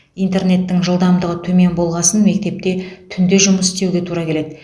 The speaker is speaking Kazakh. интернеттің жылдамдығы төмен болғасын мектепте түнде жұмыс істеуге тура келеді